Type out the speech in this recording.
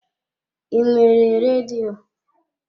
I nwere redio?